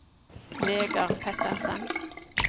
Vegar Pettersen